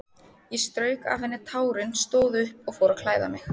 Ég strauk af henni tárin, stóð upp og fór að klæða mig.